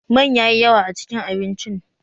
Man yayi yawa a cikin abincin